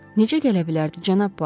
Necə gələ bilərdi cənab Buaro?